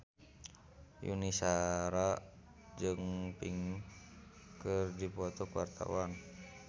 Yuni Shara jeung Pink keur dipoto ku wartawan